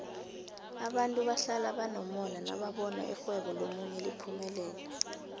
abantu bahlala banomona nababona irhwebo lomunye liphumelela